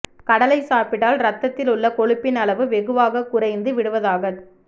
கடலை சாப்பிட்டால் ரத்தத்தில் உள்ள கொழுப்பின் அளவு வெகுவாக குறைந்து விடுவதாகச்